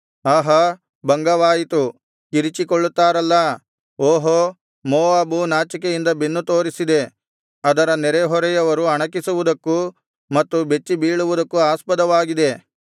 ಆಹಾ ಭಂಗವಾಯಿತು ಕಿರಿಚಿಕೊಳ್ಳುತ್ತಾರಲ್ಲಾ ಓಹೋ ಮೋವಾಬು ನಾಚಿಕೆಯಿಂದ ಬೆನ್ನು ತೋರಿಸಿದೆ ಅದರ ನೆರೆಹೊರೆಯವರು ಅಣಕಿಸುವುದಕ್ಕೂ ಮತ್ತು ಬೆಚ್ಚಿಬೀಳುವುದಕ್ಕೂ ಆಸ್ಪದವಾಗಿದೆ